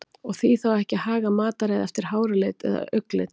Og því þá ekki að haga mataræði eftir háralit eða augnlit?